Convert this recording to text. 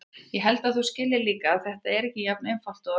Ég held að þú skiljir líka að þetta er ekki jafn einfalt og það hljómar.